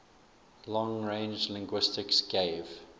long range linguistics gave